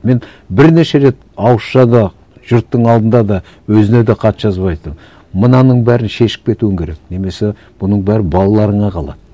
мен бірнеше рет ауызша да жұрттың алдында да өзіне де хат жазып айттым мынаның бәрін шешіп кетуің керек немесе бұның бәрі балаларыңа қалады